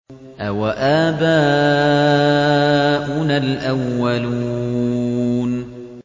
أَوَآبَاؤُنَا الْأَوَّلُونَ